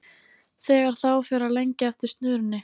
Þegar þá fer að lengja eftir snörunni.